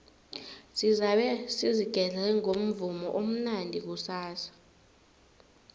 sizabe sizigedle ngomvumo omnandi kusasa